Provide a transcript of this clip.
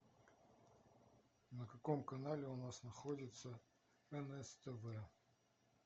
на каком канале у нас находится нств